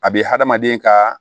A bɛ hadamaden kaaa